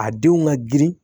A denw ka girin